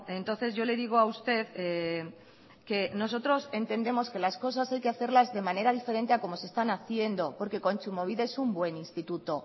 entonces yo le digo a usted que nosotros entendemos que las cosas hay que hacerlas de manera diferente a como se están haciendo porque kontsumobide es un buen instituto